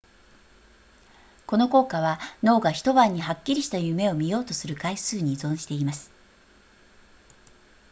この効果は脳が一晩にはっきりした夢を見ようとする回数に依存しています